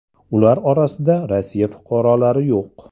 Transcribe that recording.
Ular orasida Rossiya fuqarolari yo‘q.